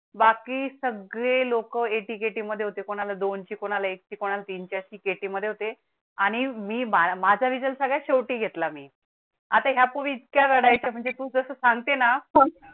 बाकी सगळे लोकं एटीकेटी मध्ये होते. कोणाला दोनची कोणाला एकची कोणाला तीनच्या एटीकेटी मध्ये होते आणि मी माझ्या result सगळ्या शेवटी घेतला. मी आता यापूर्वी त्या वेळेस म्हणजे तु जस सांगते ना